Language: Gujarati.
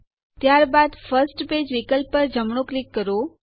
ત્યારબાદ ફર્સ્ટ પેજ વિકલ્પ પર જમણું ક્લિક કરો